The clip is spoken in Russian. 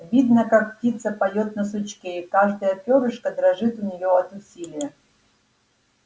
видно как птица поёт на сучке и каждое пёрышко дрожит у неё от усилия